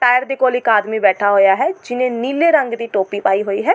Tyre ਦੇ ਕੋਲ ਇੱਕ ਆਦਮੀ ਬੈਠਾ ਹੋਇਆ ਹੈ ਜਿਹਨੇ ਨੀਲੇ ਰੰਗ ਦੀ ਟੋਪੀ ਪਾਈ ਹੋਈ ਹੈ।